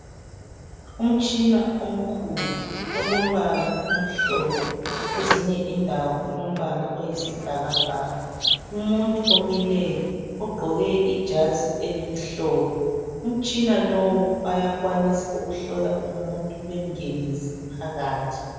Umtshina omkhulu olombala omhlophe ezinye indawo ulombala oyisibhakabhaka. Umuntu omileyo ogqoke ijazi elimhlophe umtshina lowu bayakwanisa ukuhlola umuntu bengenise phakathi.